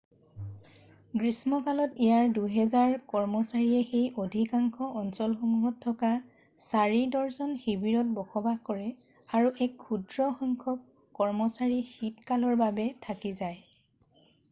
গ্ৰীষ্মকালত ইয়াত দুহাজাৰ কৰ্মচাৰীয়ে সেই অধিকাংশ অঞ্চলসমূহত থকা 4 ডৰ্জন শিৱিৰত বসবাস কৰে আৰু এক ক্ষুদ্ৰ সংখ্যক কৰ্মচাৰী শীতকালৰ বাবে থাকি যায়